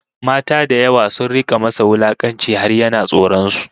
Mata da yawa sun rika masa wulakanci har yana tsoron su